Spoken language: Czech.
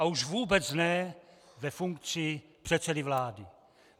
A už vůbec ne ve funkci předsedy vlády!